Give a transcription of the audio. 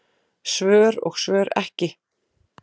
Svör og svör ekki.